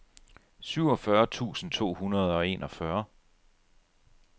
syvogfyrre tusind to hundrede og enogfyrre